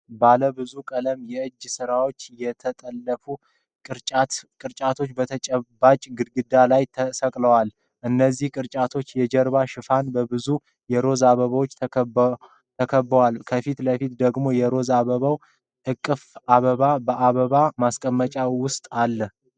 ባለብዙ ቀለም የእጅ ስራዎችና የተጠለፉ ቅርጫቶች በተጨባጭ ግድግዳ ላይ ተሰቅለዋል። የእነዚህ ቅርጫቶች የጀርባ ሽፋን በብዙ የሮዝ አበባዎች ተከቦአል፡፡ ከፊት ለፊት ደግሞ የሮዝ አበባዎች እቅፍ አበባ በአበባ ማስቀመጫ ውስጥ አለ።